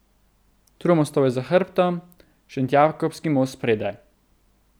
Tromostovje za hrbtom, Šentjakobski most spredaj.